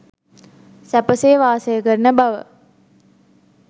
සැපසේ වාසය කරන බව.